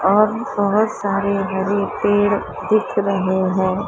और सुबह सारे हरे पेड़ दिख रहे हैं।